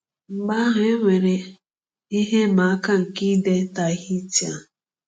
Mgbe ahụ, e nwere ihe ịma aka nke ide Tahitian.